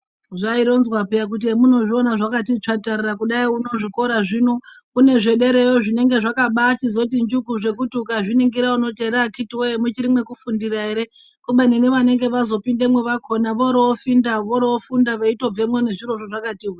Zvaironzwa peya kiti hemunozviona zvakabatitsvatarara kudai uno zvikora zvino kune zvederayo zvinenge zvakabazoti njuku zvekuti ukazviningira unoti here akitiwoye muchiri mwekufundira ere kubeni nevenenge vazopindamo vakona voro finda voro funda veitobvemwo nezvirozvo zvakati hwe.